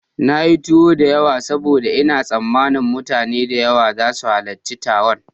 Na yi tuwo da yawa saboda ina tsammanin mutane da yawa za su halarci taron.